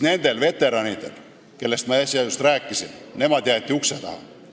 Need veteranid, kellest ma äsja rääkisin, jäeti aga ukse taha.